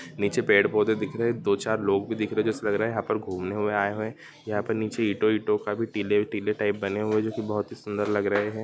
नीचे पेड़-पौधे दिख रहे हैं दो-चार लोग भी दिख रहे हैं| जैसे लग रहा है यहाँ पर घुमने हुए आए हुए है | यहाँ पर नीचे ईंटो-ईंटो का भी टीले टीले टाइप बने हुए हैं जोकी बहुत सुंदर लग रहे हैं।